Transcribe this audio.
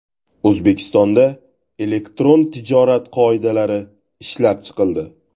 O‘zbekistonda Elektron tijorat qoidalari ishlab chiqildi.